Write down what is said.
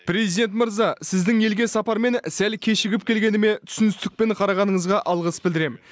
президент мырза сіздің елге сапармен сәл кешігіп келгеніме түсіністікпен қарағаныңызға алғыс білдіремін